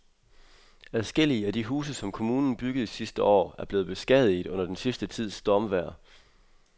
Adskillige af de huse, som kommunen byggede sidste år, er blevet beskadiget under den sidste tids stormvejr.